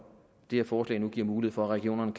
det her forslag nu giver mulighed for at regionerne